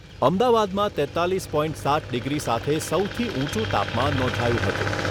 અમદાવાદમાં તેત્તાલીસ પોઇન્ટ સાત ડિગ્રી સાથે સૌથી ઊંચું તાપમાન નોંધાયું હતું.